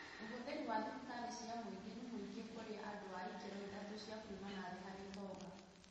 Ũhũthĩri wa thibitarĩ cia mũingĩ nĩ mũingĩ kũrĩ andũ a ikĩro ithatũ cia kuuma na thĩ harĩ ũtonga